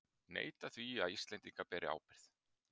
Neita því að Íslendingar beri ábyrgð